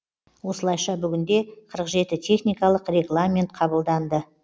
осылайша бүгінде қырық жеті техникалық регламент қабылданды